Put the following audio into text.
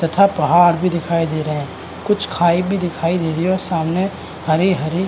तथा पहाड़ भी दिखाई दे रहें हैं कुछ खाई भी दिखाई दे रही है और सामने हरे-हरे --